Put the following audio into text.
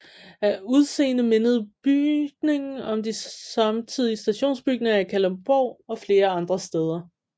Af udseende mindede bygningen om de samtidige stationsbygninger i Kalundborg og flere andre steder